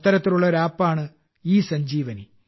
അത്തരത്തിലുള്ള ഒരു ആപ്പാണ് ഇസഞ്ജീവനി